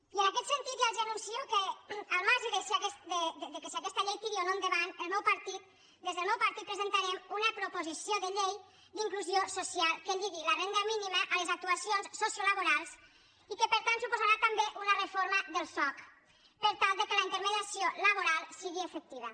i en aquest sentit ja els anuncio que al marge de si aquesta llei tira o no endavant des del meu partit presentarem una proposició de llei d’inclusió social que lligui la renda mínima a les actuacions sociolaborals i que per tant suposarà també una reforma del soc per tal que la intermediació laboral sigui efectiva